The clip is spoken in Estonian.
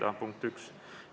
See oli punkt 1.